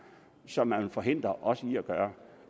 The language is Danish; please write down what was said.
som man vil forhindre os i at gøre